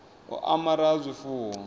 u amara ha zwifuwo hu